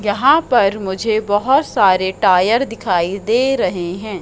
यहां पर मुझे बहोत सारे टायर दिखाई दे रहे हैं।